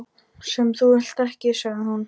. sem þú vilt ekki, sagði hún.